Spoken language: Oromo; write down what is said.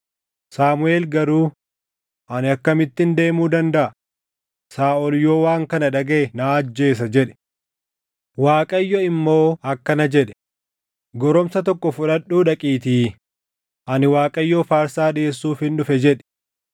Saamuʼeel garuu, “Ani akkamittin deemuu dandaʼa? Saaʼol yoo waan kana dhagaʼe na ajjeesa” jedhe. Waaqayyo immoo akkana jedhe; “Goromsa tokko fudhadhuu dhaqiitii, ‘Ani Waaqayyoof aarsaa dhiʼeessuufin dhufe’ jedhi.